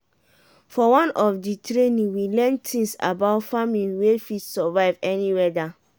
for one of di training we learn tins about farming wey fit survive any weada.